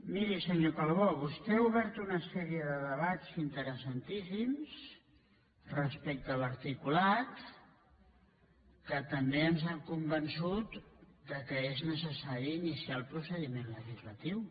miri senyor calbó vos·tè ha obert tota una sèrie de debats interessantíssims respecte a l’articulat que també ens ha convençut que és necessari iniciar el procediment legislatiu